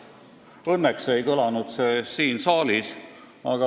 Õnneks ei kõlanud see siin saalis.